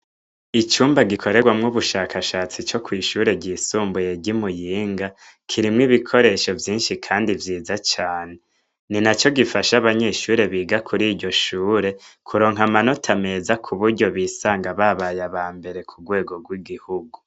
Icumba gikorerwamwo ubushakashatsi co kw'ishure ryisumbuye rimuyinga kirimwo ibikoresho vyinshi, kandi vyiza cane ni na co gifasha abanyeshure biga kuri iryo shure kuronka amanota ameza ku buryo bisanga babaye aba mbere ku rwego rw'igihugu.